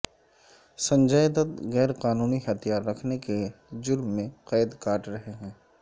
سنجے دت غیرقانونی ہتھیار رکھنے کے جرم میں قید کاٹ رہے ہیں